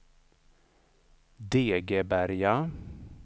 Degeberga